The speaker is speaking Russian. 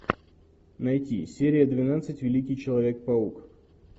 найти серия двенадцать великий человек паук